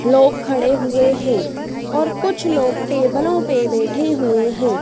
लोग खडे हुए है और कुछ लोग टेबलों पे बैठे हुए है।